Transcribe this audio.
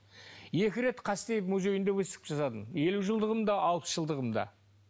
екі рет қастеев музейінде выставка жасадым елу жылдығында алпыс жылдығында